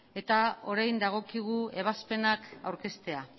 eta orain dagokigu ebazpenak aurkeztea